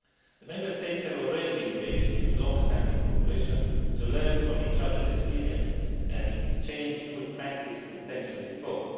The Member States have already engaged in long standing cooperation to learn from each other's experiences and exchange good practice in pension reform.